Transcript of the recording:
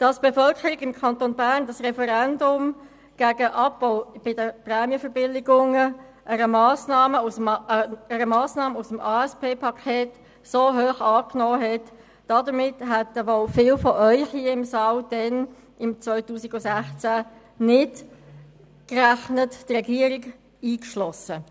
Dass die Bevölkerung des Kantons Bern im Jahr 2016 das Referendum gegen den Abbau der Prämienverbilligungen, die Massnahme aus dem ASP-Paket, so hoch annahm, hätten wohl viele von Ihnen hier im Grossen Rat nicht erwartet, die Regierung eingeschlossen.